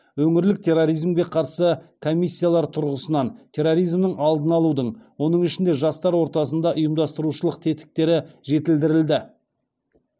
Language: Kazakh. өңірлік терроризмге қарсы комиссиялар тұрғысынан терроризмнің алдын алудың оның ішінде жастар ортасында ұйымдастырушылық тетіктері жетілдірілді